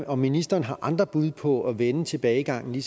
om ministeren har andre bud på at vende tilbagegangen i